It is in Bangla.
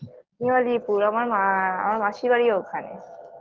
নিউ আলিপুর আমার মা আ আ আমার মাসির বাড়িও ওখানে